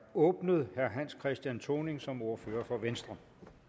åbnet herre hans christian thoning som ordfører for venstre